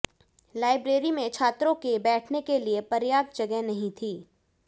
library में छात्रों के बैठने के लिए पर्याप्त जगह नहीं थी